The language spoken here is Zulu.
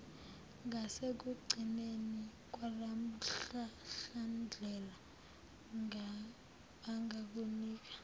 ngasekugcineni kwalomhlahlandlela bangakunika